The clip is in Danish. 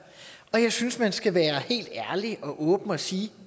jeg synes man skal være helt ærlig og åben og sige